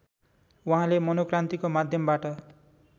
उहाँले मनोक्रान्तिको माध्यमबाट